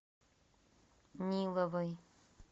ниловой